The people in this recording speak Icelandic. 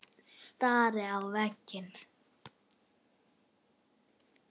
Stari á veginn.